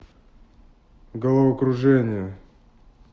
головокружение